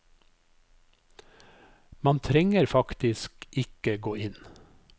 Man trenger faktisk ikke gå inn.